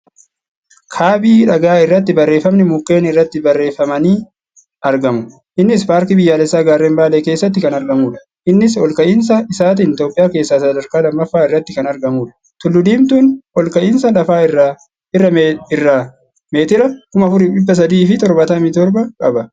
Kaabii dhagaa irratti barreeffamni mukkeen irratti barreeffamnii argamu. Innis paarkii biyyaalessaa gaarreen Baalee keessatti kan argamuudha. Innis ol ka'iinsa isaatiin Itiyoophiyaa keessaa sadarkaa lammaffaa irratti kan argamuudh. Tulluu diimtuun ol ka'iinsa lafa irraa meetira 4377 qaba.